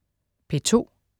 P2: